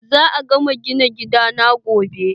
Za a gama gina gidan gobe.